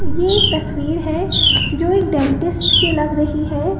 ये एक तस्वीर है जो एक डेंटिस्ट की लग रही है।